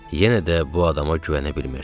Yenə də bu adama güvənə bilmirdim.